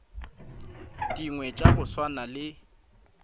dingwe tša go swana le